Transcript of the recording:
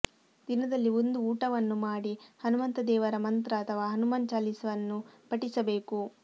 ದಿನದಲ್ಲಿ ಒಂದು ಊಟವನ್ನು ಮಾಡಿ ಹನುಮಂತ ದೇವರ ಮಂತ್ರ ಅಥವಾ ಹನುಮಾನ್ ಚಾಲೀಸವನ್ನು ಪಠಿಸಬೇಕು